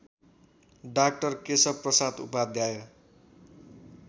डा केशवप्रसाद उपाध्याय